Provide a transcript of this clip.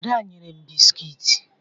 Ada nyere m bisikiiti.